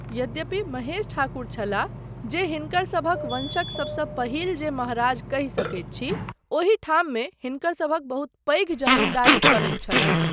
यद्यपि महेश ठाकुर छलाह जे हिनकरसभक वंशक सबसँ पहिल जे महाराज कहि सकैत छी ओहिठाममे हिनकरसभक बहुत पैघ जमीन्दारी चलैत छलनि।